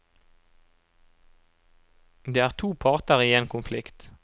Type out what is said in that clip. Det er to parter i en konflikt.